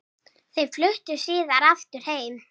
Þau fluttu síðar aftur heim.